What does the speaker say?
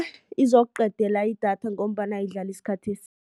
Izokuqedela idatha ngombana idlala isikhathi